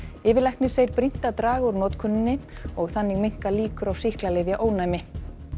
yfirlæknir segir brýnt að draga úr notkuninni og þannig minnka líkur á sýklalyfjaónæmi